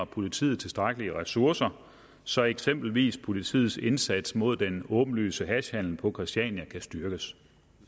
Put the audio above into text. politiet tilstrækkelige ressourcer så eksempelvis politiets indsats mod den åbenlyse hashhandel på christiania kan styrkes